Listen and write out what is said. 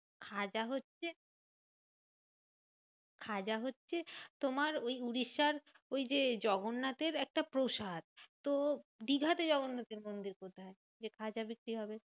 খাজা হচ্ছে খাজা হচ্ছে তোমার ওই উড়িষ্যার ওই যে জগন্নাথের একটা প্রসাদ। তো দীঘাতে জগন্নাথের মন্দির কোথায়? যে খাজা বিক্রি হবে।